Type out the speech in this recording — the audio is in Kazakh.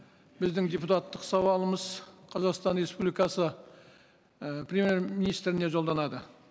біздің депутаттық сауалымыз қазақстан республикасы і премьер министріне жолданады